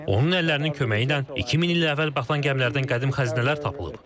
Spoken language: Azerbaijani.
Onun əllərinin köməyi ilə 2000 il əvvəl batan gəmilərdən qədim xəzinələr tapılıb.